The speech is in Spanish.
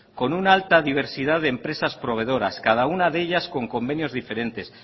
con una alta diversidad de empresas proveedoras cada una de ellas con convenios diferentes